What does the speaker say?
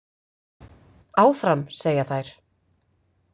Áfram, segja þær.